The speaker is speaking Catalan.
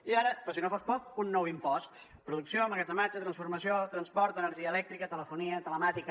i ara per si no fos poc un nou impost producció emmagatzematge transformació transport energia elèctrica telefonia telemàtica